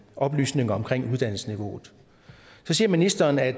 oplysninger omkring uddannelsesniveauet så siger ministeren at